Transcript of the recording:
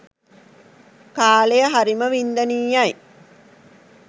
කාලය හරිම වින්දනීයයි.